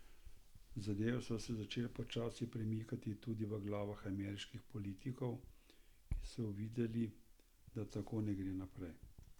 Zadeve so se začele počasi premikati tudi v glavah ameriških politikov, ki so uvideli, da tako ne gre naprej.